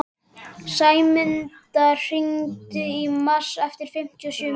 Sæmunda, hringdu í Mars eftir fimmtíu og sjö mínútur.